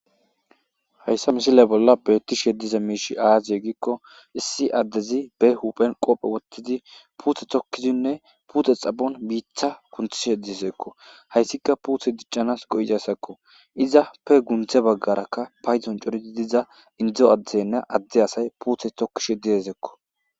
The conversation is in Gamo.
Hayssa misiliya bolla beettishe diza miishi aadze gikko issi addezi be huphen qophe wothidzi puute tokkidzinne puute xaphon biita kunthishe dizekko hayssika puute diccanas go'izasakko izappe gundze baggarakka padzon coridi didza indzo adzeynne adze asay puute tokkishe dedzekko.